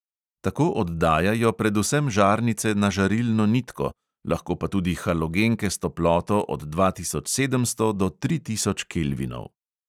Tako oddajajo predvsem žarnice na žarilno nitko, lahko pa tudi halogenke s toploto od dva tisoč sedemsto do tri tisoč kelvinov.